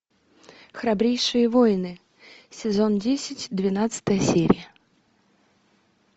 храбрейшие воины сезон десять двенадцатая серия